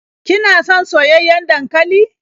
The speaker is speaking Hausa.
Kina son soyayyen dankali?